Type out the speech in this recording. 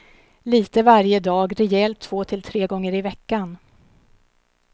Lite varje dag, rejält två till tre gånger i veckan.